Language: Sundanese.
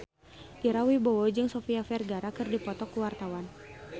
Ira Wibowo jeung Sofia Vergara keur dipoto ku wartawan